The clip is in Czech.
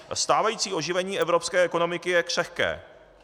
Stávající oživení evropské ekonomiky je křehké.